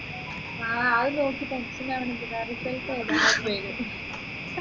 ആ അത് നോക്കി tension ആവുന്നതെന്തിനാ result വരാനുള്ളത് വരും